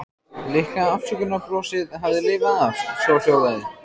Litla afsökunarbrosið hafði lifað af, svohljóðandi